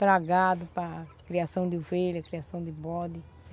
Para gado, para criação de ovelha, criação de bode.